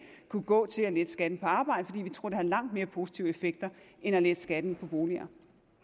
kunne gå til at lette skatten på arbejde fordi vi tror det har langt mere positive effekter end at lette skatten på boliger